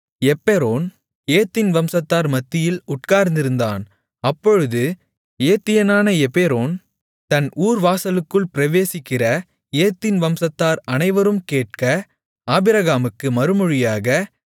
எப்பெரோன் ஏத்தின் வம்சத்தார் மத்தியில் உட்கார்ந்திருந்தான் அப்பொழுது ஏத்தியனான எப்பெரோன் தன் ஊர் வாசலுக்குள் பிரவேசிக்கிற ஏத்தின் வம்சத்தார் அனைவரும் கேட்க ஆபிரகாமுக்கு மறுமொழியாக